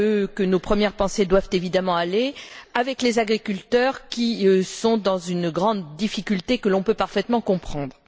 C'est à eux que nos premières pensées doivent évidemment aller, ainsi qu'aux agriculteurs qui sont dans une grande difficulté que l'on peut parfaitement comprendre.